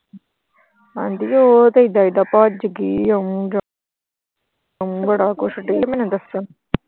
ਕਹਿੰਦੀ ਉਹ ਤਾਂ ਇਦਾਂ-ਇਦਾਂ ਭੱਜ ਗਈ। ਉਹ ਬੜਾ ਕੁਛ ਮੈਨੂੰ ਦੱਸਣ।